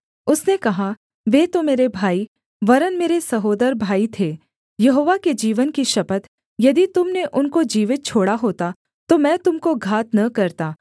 उसने कहा वे तो मेरे भाई वरन् मेरे सहोदर भाई थे यहोवा के जीवन की शपथ यदि तुम ने उनको जीवित छोड़ा होता तो मैं तुम को घात न करता